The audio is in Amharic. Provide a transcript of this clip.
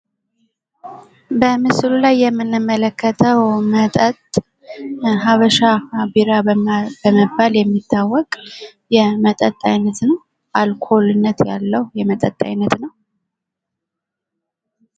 በምስሉ ላይ የምንመለከተው መጠጥ ሀበሻ ቢራ በመባል የሚታወቅ የመጠጥ አይነት ነው። አልኮልነት ያለው የመጠጥ አይነት ነው።